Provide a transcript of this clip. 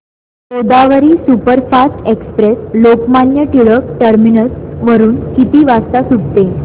Godavari superfast express Lokmanya Tilak terminus वरून किती वाजता सुटते